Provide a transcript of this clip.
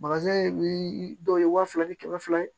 dɔw ye wa fila ni kɛmɛ fila ye